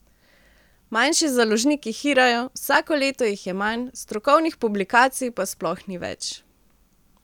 Manjši založniki hirajo, vsako leto jih je manj, strokovnih publikacij pa sploh ni več.